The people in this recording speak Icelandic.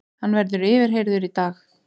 Hann verður yfirheyrður í dag